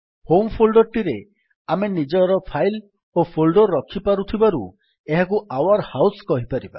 home folder ଟିରେ ଆମେ ନିଜର ଫାଇଲ୍ ଓ ଫୋଲ୍ଡର୍ ରଖିପାରୁଥିବାରୁ ଏହାକୁ ଆଉର୍ ହାଉସ କହିପାରିବା